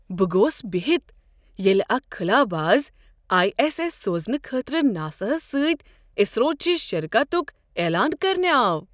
بہٕ گوس بِہِتھ ییٚلہ اکھ خلاباز آیی ایس ایس سوزنہٕ خٲطرٕ ناساہس سۭتۍ اسرو چِہ شراکتُك عیلان کرنہِ آو۔